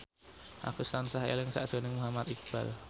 Agus tansah eling sakjroning Muhammad Iqbal